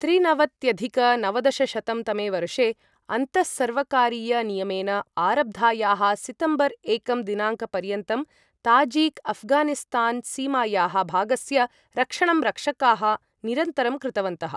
त्रिनवत्यधिक नवदशशतं तमे वर्षे अन्तःसर्वकारीयनियमेन आरब्धायाः सितम्बर् एकं दिनाङ्कपर्यन्तं ताजीक् अफ्गानिस्तान्सीमायाः भागस्य रक्षणं रक्षकाः निरन्तरं कृतवन्तः।